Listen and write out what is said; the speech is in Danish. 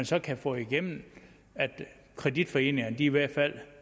så kan få igennem at kreditforeningerne i hvert fald